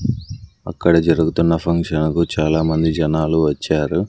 అక్కడ జరుగుతున్న ఫంక్షన్ కు చాలామంది జనాలు వచ్చారు.